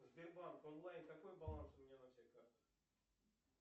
сбербанк онлайн какой баланс у меня на всех картах